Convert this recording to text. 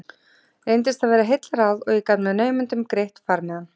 Reyndist það vera heillaráð og ég gat með naumindum greitt farmiðann.